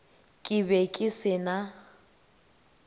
ke be ke se na